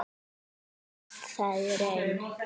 En stenst það í raun?